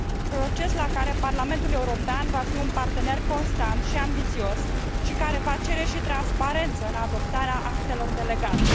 proces la care Parlamentul European va fi un partener constant și ambițios și care va cere și transparență în adoptarea actelor delegate.